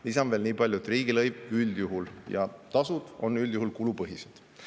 " Lisan veel nii palju, et riigilõiv ja tasud on üldjuhul kulupõhised.